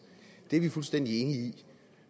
det er vi fuldstændig enige i